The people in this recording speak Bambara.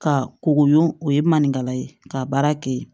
Ka kogo o ye maninkala ye ka baara kɛ yen